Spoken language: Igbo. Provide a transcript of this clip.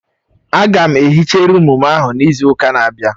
Aga m ehicha rụụm ahụ n'izu ụka na-abịa